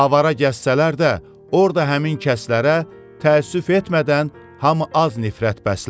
Avara gəzsələr də orda həmin kəslərə təəssüf etmədən hamı az nifrət bəslər.